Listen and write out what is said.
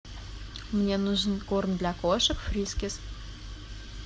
мне нужен корм для кошек фрискис